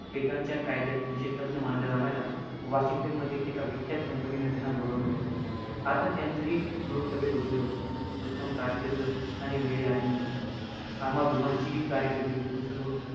ब्रीटेनच्या कायद्यात विशेषतज्ञ मानल्या जाणाऱ्या वाशिंगटनमधील एका विख्यात company ने त्यांना बोलवून घेतलं होतं, आता त्यांचही भवितव्य उज्वल होतं, उत्तम कारकिर्द आणि वेळे आधी निवृत्ती, आम्हा दोघांचीही कार्यकिर्दी उत्तम सुरू होती.